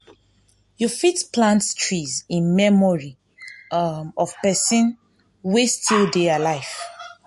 you fit plant trees in memory um of person wey still dey alive